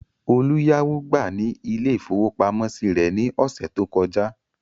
Olú yáwó gbà ní ilé-ìfowópamọ́sí rẹ̀ ní ọ̀sẹ̀ tó kọjá.